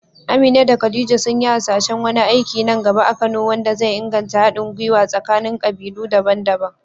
Amina da Khadija sun yi hasashen wani aiki nan gaba a Kano wanda zai inganta haɗin gwiwa tsakanin kabilu daban-daban.